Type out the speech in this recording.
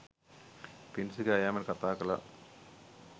පිඬුසිඟා යෑමට කතා කළා.